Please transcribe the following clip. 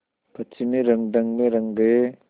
पश्चिमी रंगढंग में रंग गए